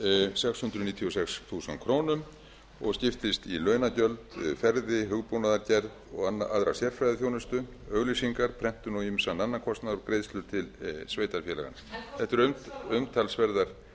sex hundruð níutíu og sex þúsund krónur og skiptist í launagjöld ferðir hugbúnaðargerð og aðra sérfræðiþjónustu auglýsingar prentun og ýmsan annan kostnað og greiðslu til sveitarfélaga þetta eru umtalsverðar